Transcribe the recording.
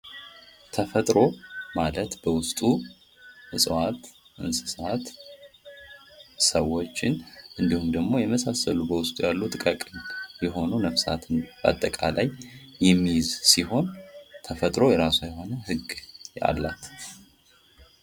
ተፈጥሮ ማለት በውስጡ እጽዋት ፣ እንስሳት ፣ ሰዎች እንዲሁም ደግሞ የመሳሰሉ ጥቃቅን የሆኑ ነፍሳትን አጠቃላይ የሚይዝ ሲሆን ተፈጥሮ የራሷ የሆነ ህግ አላት ።